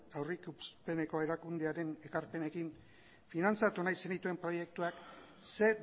aurrikuspeneko erakundearen ekarpenekin finantzatu nahi zenituen proiektuak ze